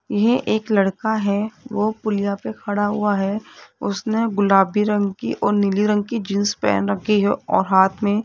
ये एक लड़का है वो पुलिया पे खड़ा हुआ है उसने गुलाबी रंग की और नीली रंग की जींस पहन रखी है और हाथ में --